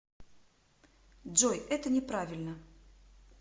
джой это не правильно